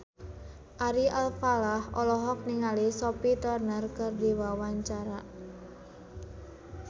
Ari Alfalah olohok ningali Sophie Turner keur diwawancara